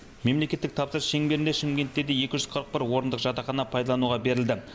мемлекеттік тапсырыс шеңберінде шымкентте де екі жүз қырық бір орындық жатақхана пайдалануға берілді